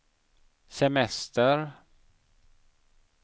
semester